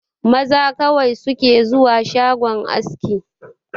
Maza kawai su ke zuwa shagon aski